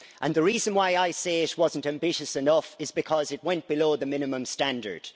The reason why I say it wasn't ambitious enough is because it went below the minimum standard.